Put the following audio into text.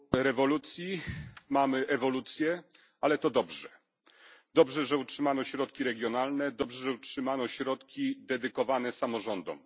Zamiast rewolucji mamy ewolucję, ale to dobrze. Dobrze, że utrzymano środki regionalne, dobrze, że utrzymano środki dedykowane samorządom.